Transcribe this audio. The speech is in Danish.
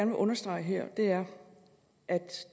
vil understrege her er at